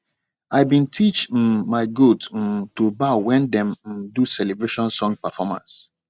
i been teach um my goat um to bow wen dem um do celebration song performance